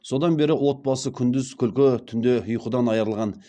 содан бері отбасы күндіз күлкі түнде ұйқыдан айырылған